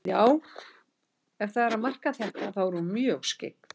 Já, ef það er að marka þetta, þá er hún mjög skyggn.